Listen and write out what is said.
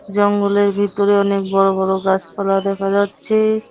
জঙ্গলের ভিতরে অনেক বড় বড় গাছপালা দেখা যাচ্ছে।